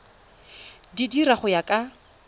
di dira go ya ka